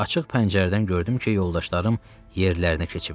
Açıq pəncərədən gördüm ki, yoldaşlarım yerlərinə keçib.